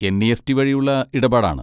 NEFT. വഴിയുള്ള ഇടപാടാണ്.